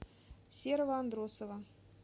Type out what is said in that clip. серого андросова